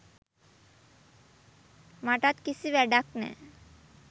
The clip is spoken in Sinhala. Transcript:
මටත් කිසි වෑඩක් නෑ.